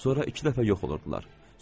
Sonra iki dəfə yox olurdular.